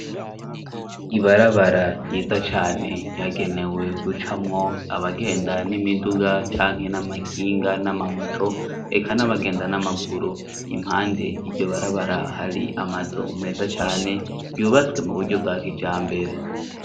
ibarabara ryiza cane ryagenewe guca mwo abagenda n'imiduga canke n'amakinga n'amamoto eka n'abagenda n'amaguru impande iryobarabara hari amazu meza cane yubatswe mu buryo bwakijambere